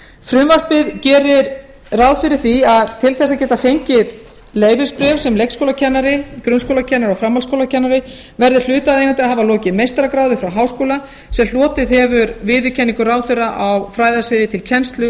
frumvarpið gerir ráð fyrir því að til þess að geta fengið leyfisbréf sem leikskólakennari grunnskólakennari og framhaldsskólakennari verði hlutaðeigandi að hafa lokið meistaragráðu frá háskóla sem hlotið hefur viðurkenningu ráðherra á fræðasviði til kennslu